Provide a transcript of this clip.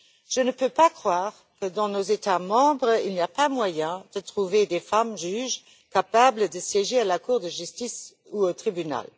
Je ne peux pas croire que dans nos États membres, il n'y a pas moyen de trouver des femmes juges capables de siéger à la Cour de justice ou au tribunal.